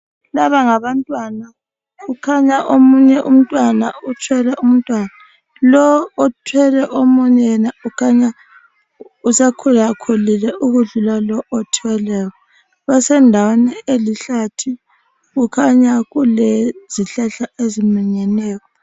Laba ngabantwana kukhanya omunye umntwana uthwele umntwana, lowo othwele omunye yena ukhanya usekhulakhulile ukudlula lo othweleyo. Basendaweni elihlathi kukhanya kulezihlahla eziminyeneyo.